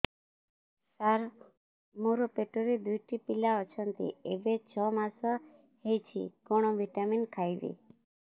ସାର ମୋର ପେଟରେ ଦୁଇଟି ପିଲା ଅଛନ୍ତି ଏବେ ଛଅ ମାସ ହେଇଛି କଣ ଭିଟାମିନ ଖାଇବି